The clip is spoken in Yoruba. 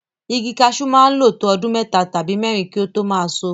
Igi kaṣú máa ń lo to ọdún mẹ́ta tàbí mẹ́rin kí ó tó máa ṣọ.